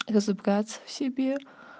разобраться в себе